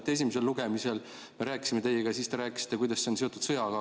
Kui me esimesel lugemisel teiega rääkisime, siis te rääkisite, kuidas see on seotud sõjaga.